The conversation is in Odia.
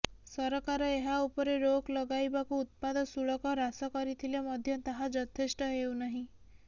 ସରକାର ଏହା ଉପରେ ରୋକ ଲଗାଇବାକୁ ଉତ୍ପାଦ ଶୁଳକ ହ୍ରାସ କରିଥିଲେ ମଧ୍ୟ ତାହା ଯଥେଷ୍ଟ ହେଉନାହିଁ